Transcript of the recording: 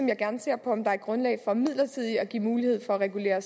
jeg gerne ser på om der er grundlag for midlertidigt at give mulighed for at regulere